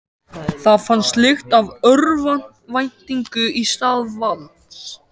Það fannst lykt af örvæntingu í stað valds.